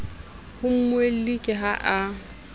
ho mmuelli ke ha a